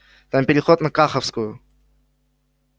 там переход на каховскую